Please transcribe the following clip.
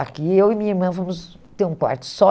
Aqui, eu e minha irmã fomos ter um quarto só.